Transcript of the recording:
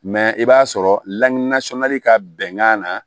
Mɛ i b'a sɔrɔ lakanasɔnni ka bɛnkan na